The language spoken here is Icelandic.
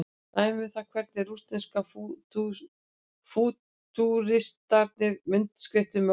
Dæmi um það hvernig rússnesku fútúristarnir myndskreyttu með orðum.